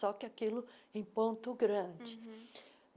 Só que aquilo em ponto grande. uhum